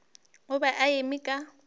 o be a eme ka